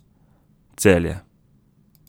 Celje.